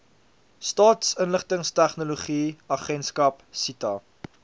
staatsinligtingstegnologie agentskap sita